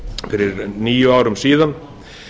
fyrir níu árum síðan